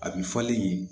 A bi falen yen